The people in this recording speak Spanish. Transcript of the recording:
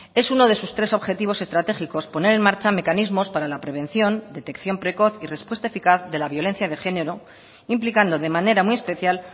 es uno de sus tres objetivos estratégicos poner en marcha mecanismos para la prevención detección precoz y respuesta eficaz de la violencia de género implicando de manera muy especial